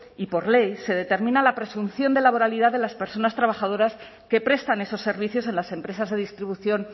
y por ley se determina la presunción de laboralidad de las personas trabajadoras que prestan esos servicios en las empresas de distribución